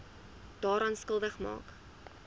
daaraan skuldig maak